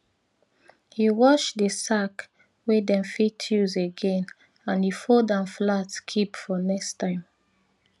he wash di sack wey dem fit use again and he fold am flat keep for next time